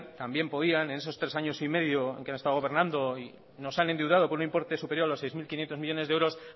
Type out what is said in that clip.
en esos tres años y medio en el que han estado gobernando y nos han endeudado por un importe superior a los seis mil quinientos millónes de euros